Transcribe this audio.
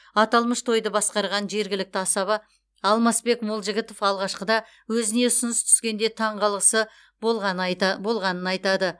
аталмыш тойды басқарған жергілікті асаба алмасбек молжігітов алғашқыда өзіне ұсыныс түскенде таңғалысы болғанын айтады